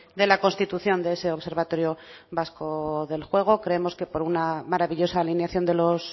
de la constitución de ese observatorio vasco del juego creemos que por una maravillosa alineación de los